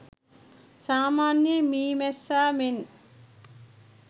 සාමාන්‍ය මී මැස්සා මෙන්